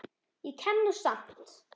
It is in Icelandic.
Ég kem nú samt!